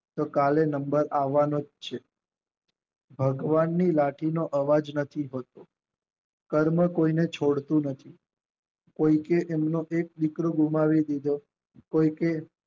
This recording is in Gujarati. તો કાલે નંબર આવાનો જ છે ભગવાનની લાઠીનો અવાજ નથી થતો કર્મ કોઈને છોડતું નથી કેમકે એમનો એક દીકરો ગુમાવી દીધો કોઈ કે